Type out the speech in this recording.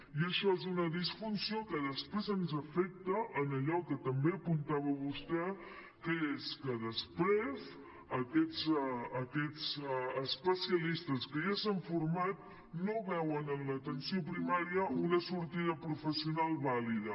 i això és una disfunció que després ens afecta en allò que també apuntava vostè que és que després aquests especialistes que ja s’han format no veuen en l’atenció primària una sortida professional vàlida